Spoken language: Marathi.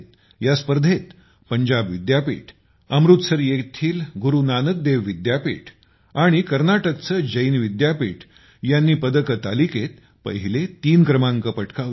या स्पर्धेत पंजाब विद्यापीठ अमृतसर येथील गुरु नानक देव विद्यापीठ आणि कर्नाटकचे जैन विद्यापीठ यांनी पदक तालिकेत पहिले तीन क्रमांक पटकावले